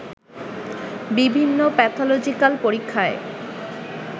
বিভিন্ন প্যাথলজিক্যাল পরীক্ষায়